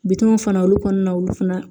Bitɔnw fana olu kɔnɔna na olu fana